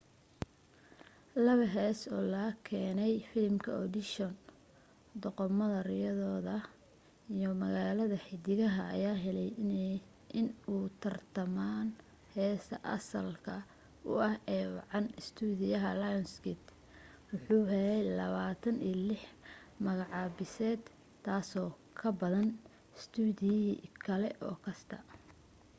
laba heesoo oo laga keenay filimka audition doqomada riyooda iyo magaalada xiddigaha ayaa helay inay u tartamaan heesta asalka ah ee ugu wacan. istuudiyaha lionsgate waxa uu helay 26 magacaabiseed - taasoo ka badan istuudiye kale oo kasta